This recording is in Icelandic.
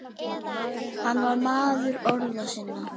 Hann var maður orða sinna.